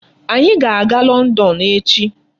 Anyị ga-aga London echi.